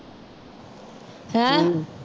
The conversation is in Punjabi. ਹੈਂ